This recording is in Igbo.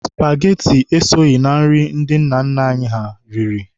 Spageti esoghị na nri ndị nna nna anyị ha riri.